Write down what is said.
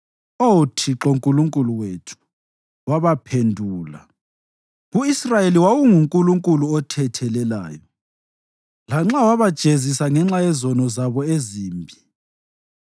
Oh Thixo Nkulunkulu wethu, wabaphendula; ku-Israyeli wawunguNkulunkulu othethelelayo, lanxa wabajezisa ngenxa yezenzo zabo ezimbi.